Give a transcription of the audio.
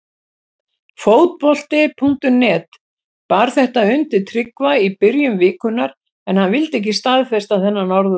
Fótbolti.net bar þetta undir Tryggva í byrjun vikunnar en hann vildi ekki staðfesta þennan orðróm.